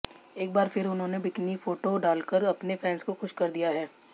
एक बार फिर उन्होंने बिकिनी फोटो डालकर अपने फैंस को खुश कर दिया है